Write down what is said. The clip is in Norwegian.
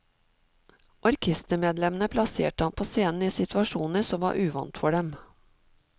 Orkestermedlemmene plasserte ham på scenen i situasjoner som var uvant for dem.